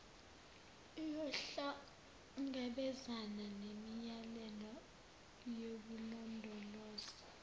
iyohlangabezana nemiyalelo yokulondolozwa